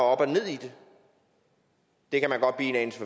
og ned i det det kan man godt blive en anelse